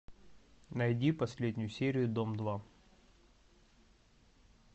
найди последнюю серию дом два